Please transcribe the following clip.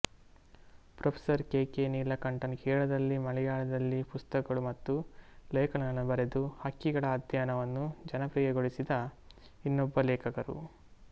professor K K Neelakantan ಕೇರಳದಲ್ಲಿ ಮಲೆಯಾಳದಲ್ಲಿ ಪುಸ್ತಕಗಳು ಮತ್ತು ಲೇಖನಗಳನ್ನು ಬರೆದು ಹಕ್ಕಿಗಳ ಅಧ್ಯಯನವನ್ನು ಜನಪ್ರಿಯಗೊಳಿಸಿದ ಇನ್ನೊಬ್ಬ ಲೇಖಕರು